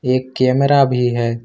एक कैमरा भी है।